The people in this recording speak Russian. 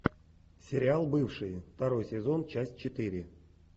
сериал бывшие второй сезон часть четыре